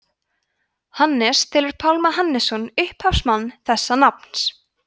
hannes telur pálma hannesson upphafsmann þessa nafns